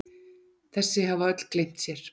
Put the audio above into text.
Þessi hafa öll gleymt sér!